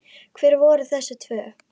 Hver voru þessi tvö?